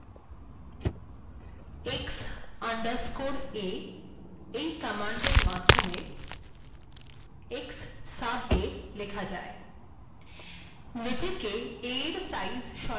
x underscore a command এর মাধ্যেম x sub a েলখা যায়